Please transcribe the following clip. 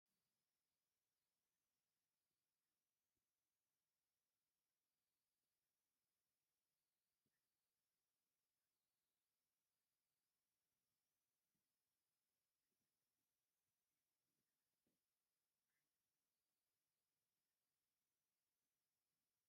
ሓንቲ ጓል ኣነስተይቲ ኣብ ወንበር ተቐሚጣ ቅልል ዝበለ ፍላት ጫማ ተርኢ ኣላ፡፡ እዚ ጫማ ዋግኡ እውን ቅልል ዝበለ እንተይኮነ ኣይተርፍን፡፡ ግን ሰባት ዓይኖም ዋግኡ ናብ ዝኸበረ ነገር ዝገብሩ ንምንታይ እዩ?